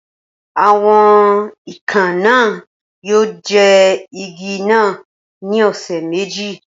Awọn ikàn naa yoo jẹun igi naa ni ọsẹ meji